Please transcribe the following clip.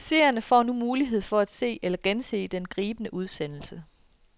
Seerne får nu mulighed for se eller gense den gribende udsendelse.